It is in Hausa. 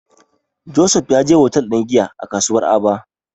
Joseph ya je hotel ɗin giya a kasuwar Aba.